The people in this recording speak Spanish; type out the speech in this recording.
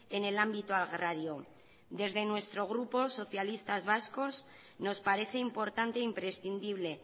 en el ámbito agrario desde nuestro grupo socialistas vascos nos parece importante imprescindible